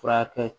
Furakɛ